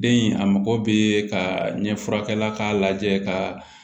Den in a mago bɛ ka ɲɛ furakɛ k'a lajɛ ka